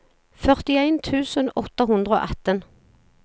førtien tusen åtte hundre og atten